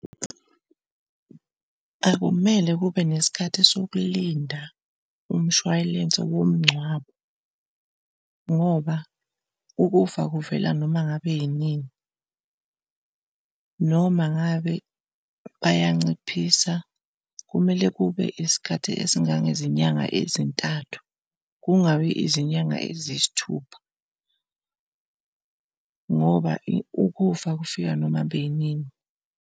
Akumele kube nesikhathi sokulinda umshwalense womngcwabo ngoba ukufa kuvela noma ngabe yinini. Noma ngabe bayanciphisa, kumele kube isikhathi esingangezinyanga ezintathu kungabi izinyanga eziyisithupha ngoba ukufa kufika noma ngabe inini.